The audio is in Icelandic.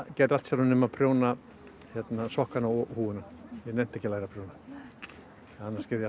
gerði allt sjálfur nema prjóna sokkana og húfuna ég nennti ekki að læra að prjóna annars gerði